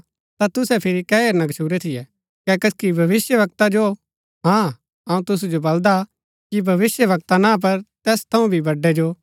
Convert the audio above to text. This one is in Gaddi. ता तुसै फिरी कै हेरना गच्छुरै थियै कै कसकि भविष्‍यवक्ता जो हाँ अऊँ तुसु जो बलदा कि भविष्‍यवक्ता ना पर तैस थऊँ भी बड़ै जो